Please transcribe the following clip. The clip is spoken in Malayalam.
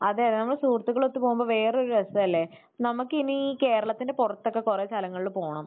അതെ. അതെ. നമ്മൾ സുഹൃത്തുക്കൾ ഒത്ത് പോകുമ്പോൾ വേറെയൊരു രസമല്ലേ. നമുക്ക് ഇനി കേരളത്തിന്റെ പുറത്തൊക്കെ കുറെ സ്ഥലങ്ങളിൽ പോണം.